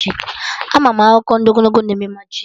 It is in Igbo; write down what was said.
Ama m akụkọ ndị ogologo na eme majik